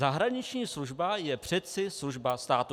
Zahraniční služba je přece služba státu.